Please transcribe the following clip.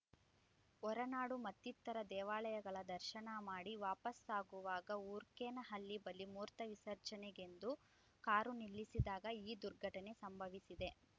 ಹೊರನಾಡು ಮತ್ತಿತರ ದೇವಾಲಯಗಳ ದರ್ಶನ ಮಾಡಿ ವಾಪಸಾಗುವಾಗ ಊರ್ಕೇನಹಳ್ಳಿ ಬಳಿ ಮೂತ್ರ ವಿಸರ್ಜನೆಗೆಂದು ಕಾರು ನಿಲ್ಲಿಸಿದಾಗ ಈ ದುರ್ಘಟನೆ ಸಂಭವಿಸಿದೆ